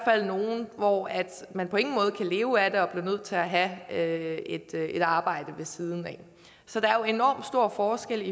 fald nogle hvor man på ingen måde kan leve af er nødt til at have et et arbejde ved siden af så der er enorm stor forskel